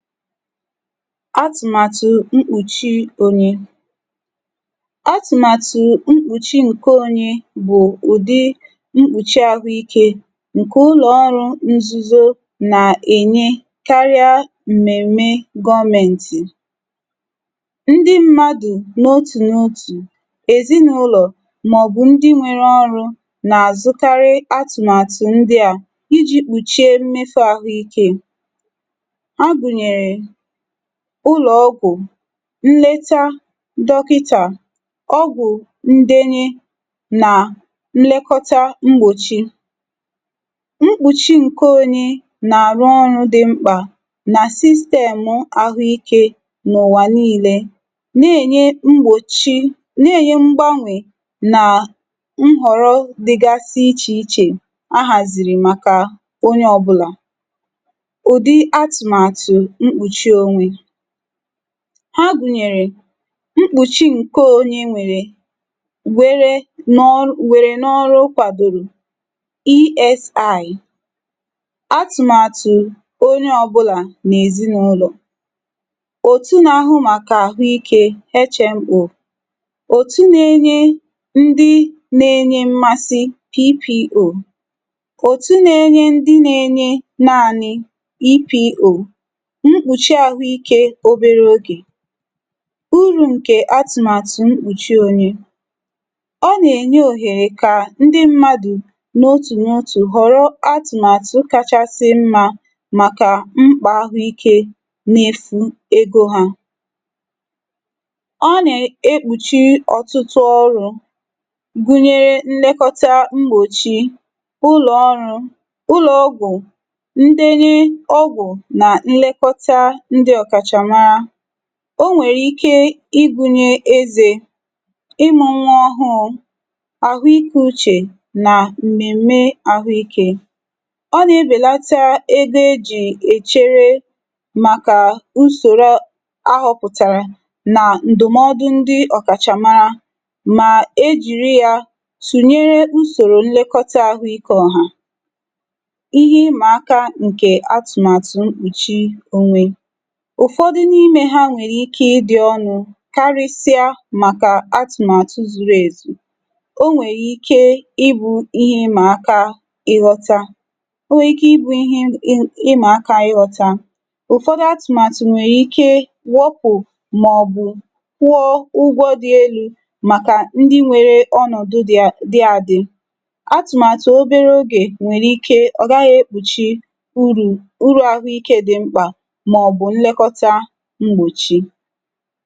Atụmatụ mkpuchi onye. Atụmatụ mkpuchi nke onye bụ mkpuchi ahụike nke ụlọ ọrụ nzuzo na enye karịa mmemme gọọmentị, ndị mmadụ n'otu n'otu, ezinụlọ maọbụ ndị nwere ọ́rụ na-azụkarị atụmatụ ndị a iji kpuchie mmeso ahụike. Ha gụnyere ụlọ ọgwụ nleta dọkịta, ọgwụ ndenye na nlekọta mgbochi. Mkpuchi nkeonye na-arụ ọrụ dị mkpa na sistemụ ahụike n'ụwa niile na-enye mgbochi na-enye mgbanwe nhọrọ dịgasị iche iche a haziri makka onye ọbụla. Udi atụmatụ mkpuchi onye. Ha gụnyere mkpuchi nke onye nwèrè wéré n'ọr were n'ọrụ kwadoro ESI, atụmatụ onye ọbụla na ezinụlọ, òtú na-ahụ maka ahụike HMO, otú nagenye ndị na-enye mmasị PPO, otú nagenye ndị nagenye naanị EPO, mkpuchi ahụike obere oge. Úrù nke atụmatụ mkpuchi onye. Ọ na-enye ohere ka ndị mmadụ n'otu n'otu ghọrọ atụmatụ kachasị mma maka mkpa ahụike mmefu ego ha. Ọ na ekpuchi ọtụtụ ọ́rụ gụnyere nlekọta mgbochi, ụlọ ọrụ, ụlọ ọgwụ, ndenye ọgwụ na nlekọta ndị ọkachamara. O nwee ike ịgụnye éze, ịmụ nwa ọhụrụ, ahụike uche na mmemme ahụike. Ọ na-ebelata ego e ji echere maka usoro a họpụtara maka ndụmọdụ ọkachamara ma e jiri ya tụnyere usoro nlekọta ahụike ọ̀hà. Ihe Ịma áká atụmatụ mkpuchi onwe. Ụfọdụ n'ime ha nwere ike ịdị ọ́nụ karịsịa maka atụmatụ zuru ezu. O nwee ike ịbụ ihe ịma aka ịghọta o nwee ike ịbụ ihe ị ịma aka ịghọta. Ụfọdụ atụmatụ nwee ikewọ́pụ̀ maọbụ kwụọ ụgwọ dị elu maka ndị nwere ọnọdụ dị dị adị. Atụmatụ obere oge nwere ike ọ gaghị ekpuchi urù uru ahụike dị mkpa maọbụ nlekọta mgbochi.